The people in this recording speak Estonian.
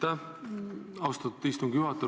Aitäh, austatud istungi juhataja!